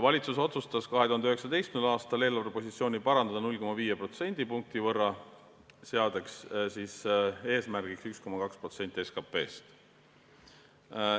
Valitsus otsustas 2019. aastal eelarvepositsiooni parandada 0,5 protsendipunkti võrra, seades eesmärgiks 1,2% SKP-st.